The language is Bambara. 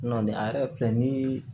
Nɔnɔni a yɛrɛ filɛ ni ye